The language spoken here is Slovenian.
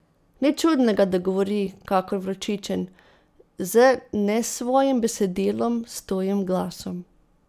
Nič čudnega, da govori kakor vročičen, z nesvojim besedilom, s tujim glasom.